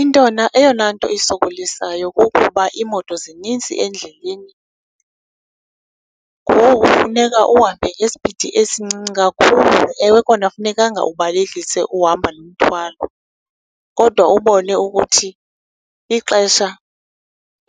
Eyona nto isokolisayo kukuba iimoto zinintsi endleleni, ngoku funeka uhambe ngesipidi esincinci kakhulu. Ewe kona funekanga ubalekise uhamba nomthwalo, kodwa ubone ukuthi ixesha